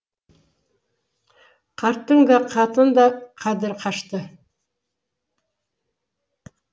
қарттың да хаттың да қадірі қашты